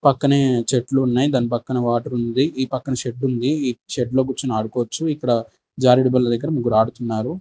పక్కనే చెట్లు ఉన్నాయి దాని పక్కన వాటర్ ఉంది. ఈ పక్కన షెడ్ ఉంది ఈ షెడ్ లో కూర్చుని ఆడుకోవచ్చు. ఇక్కడ జారుడు బల్ల దగ్గర ముగ్గురు ఆడుతున్నారు.